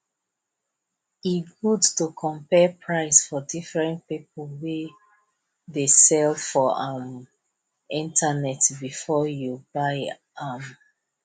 e good to compare price for diferent people wey dey sell for um internet before you buy um